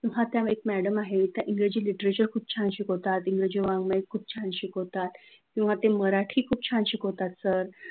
ते आपण ठरवत असतो, किंवा खूप तर असं होतं की कॉलेजचे विषय निवडताना कुणी आपल्याला सांगतात की, हो म्हणजे हा आर्ट्स मधला राज्यशास्त्र घे ते सर खूप छान शिकवतात ते आपण ठरवत असतो.